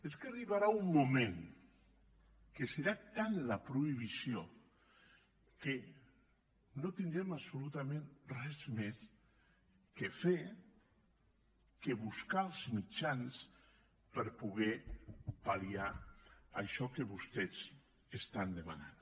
és que arribarà un moment en què serà tanta la prohibició que no tindrem absolutament res més a fer que buscar els mitjans per poder pal·liar això que vostès estan demanant